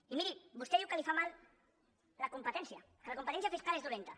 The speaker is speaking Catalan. i miri vostè diu que li fa mal la competència que la competència fiscal és dolenta